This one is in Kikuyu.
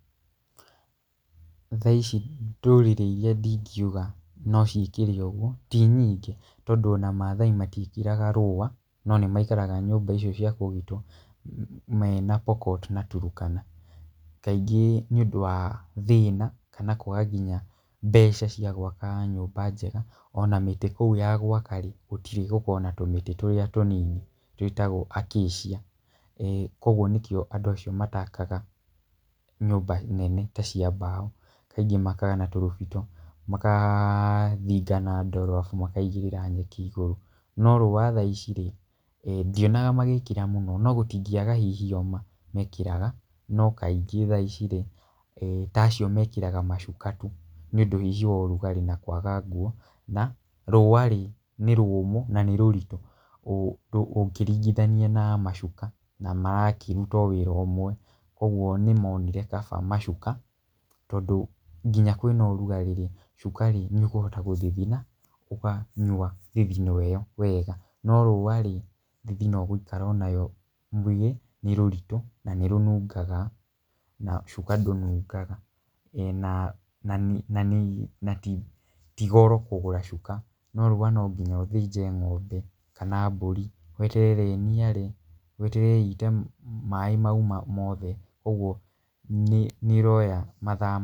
Thaa ici ndũrĩrĩ iria ndingiuga no ciĩkĩre ũguo ti nyingĩ, tondũ ona Maathai matiĩkĩraga rũa, no nĩmaikaraga nyũmba icio cia kũgitwo mena Pokot na Turkana, kaingĩ nĩũndũ wa thĩna kana kwaga kinya mbeca cia gwaka nyũmba njega. Ona mĩtĩ kũu ya gwaka-rĩ, gũtirĩ gũkoragwo na tũmĩtĩ tũrĩa tũnini twĩtagwo acacia, kuoguo nĩkĩo andũ acio matakaga nyũmba nene ta cia mbaũ, kaingĩ makaga na tũrũbito makathinga na ndoro arabu makaigĩrĩra nyeki igũrũ. No riũa thaa ici-rĩ, ndionaga magĩkĩra mũno. No gũtingĩaga hihi o mekĩraga, no kaingĩ thaa ici-rĩ, ta acio mekĩraga macuka tu nĩũndũ hihi wa ũrugarĩ na kwaga nguo na rũa-rĩ, nĩ rũmũ na nĩ rũritũ ũkĩringithania na macuka na marakĩruta o wĩra ũmwe. Kuoguo nĩmonire kaba macuka tondũ kinya kwĩna ũrugarĩ-rĩ, cuka-rĩ nĩũkũhota gũthithina ũkanyua thithino ĩyo wega. No rũa-rĩ, thithino ũgũikara o nayo mwĩrĩ, nĩ rũritũ na nĩrũnungaga na cuka ndũnungaga. Na na na ti goro kũgũra cuka, no rũa no nginya ũthĩnje ng'ombe kana mbũri, weterere ĩniare, weterere ĩite maĩ mau mothe ũguo nĩ nĩ ĩroya mathaa.